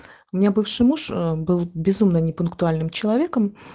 мне бывший муж был безумно не пунктуальным человеком